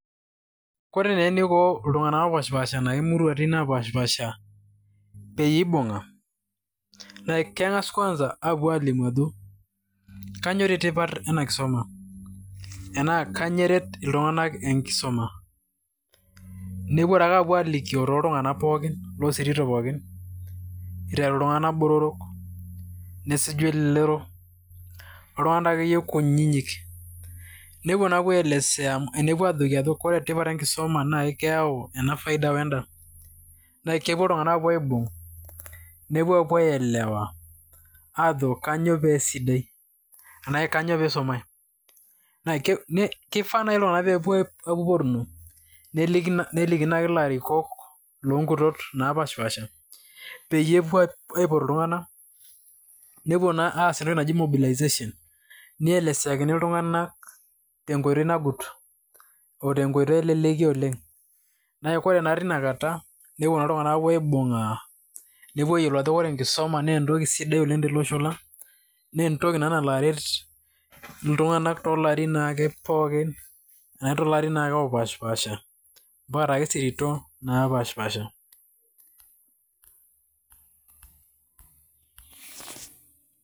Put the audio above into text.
ore taa eniko iltunganak oopashipaasha too muruatin naapashipaasha peyie eibung'a, naa keng'as kwanza aapuo aalimu ajo kainyioo dii tipat ena kisuma enaa kainyoo eret iltunganak enkisuma, nepuo aalikioo too ltunganak pookin loosirito pookin, iteru iltunganak botorok, nesuju elelero, oltunganak akeyie kunyinyik nepuo aaelesea, nepuo ajoki ore tipat enkisuma,,naa keyau ena faida weda naa kepuo iltunganak aapuonu aibung',nepuo aapuo aelewaw aajo kainyioo peesidai. enaa kainyioo pee isumae, kifaa nai iltunganak pee epuo kurmo. neliki naake larikok loo nkutot, naapashipaasha peyie epuo aaliki iltunganak. nepuo aas entoki naji mobilization .nielesakini iltunganak te nkoitoi nang'ut o tenkoitoi eleleki oleng' ore naa teina kata, nepuo naa iltunganak aapuo aibung'a nepuo aayiolou ajo ore enkisuma, naa entoki sidai oleng tele osho lang, naa entoki naa nalo aret iltunganak toolarin pookin. otoosiatin napashipaasha.